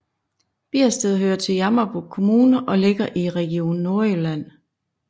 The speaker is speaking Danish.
Biersted hører til Jammerbugt Kommune og ligger i Region Nordjylland